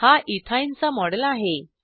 हा इथिन चा मॉडेल आहे